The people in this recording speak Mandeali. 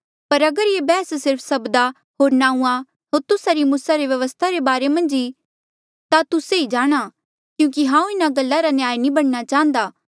पर अगर ये बैहस सिर्फ सब्दा होर नांऊँआं होर तुस्सा री मूसा री व्यवस्था रे बारे मन्झ ई ता तुस्से ही जाणा क्यूंकि हांऊँ इन्हा गल्ला रा न्यायी नी बणना चाह्न्दा